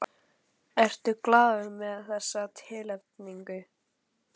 Ertu glaður með þessa tilnefningu?